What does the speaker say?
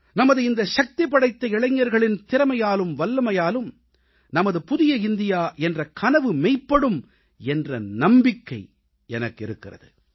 நமது இந்த சக்திபடைத்த இளைஞர்களின் திறமையாலும் வல்லமையாலும் நமது புதிய இந்தியா என்ற கனவு மெய்ப்படும் என்ற நம்பிக்கை எனக்கு இருக்கிறது